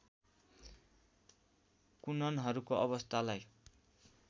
कुननहरूको अवस्थालाई